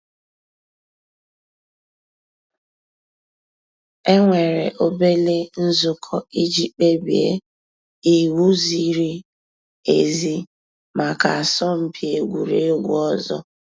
É nwèré òbèlé ǹzùkọ́ ìjì kpèbíé íwú zìrí èzí màkà àsọ̀mpị́ egwuregwu ọ̀zọ́.